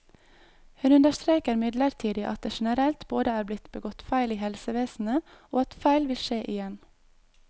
Hun understreker imidlertid at det generelt både er blitt begått feil i helsevesenet, og at feil vil skje igjen.